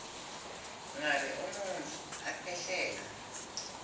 ngabe umuntfu akhwehlela